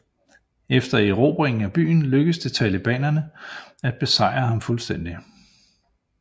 Efter erobringen af byen lykkedes det talibanerne at besejre ham fuldstændigt